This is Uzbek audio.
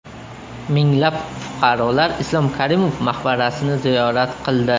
Minglab fuqarolar Islom Karimov maqbarasini ziyorat qildi .